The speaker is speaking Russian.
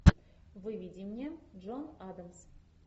выведи мне джон адамс